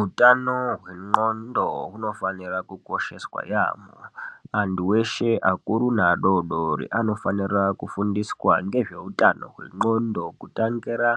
Utano hwenxondo, hunofanira kukosheswa yamho, antu weshe akuru neadodori, anofanira kufundiswa ngezveutano hwenxondo kutangira